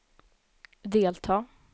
delta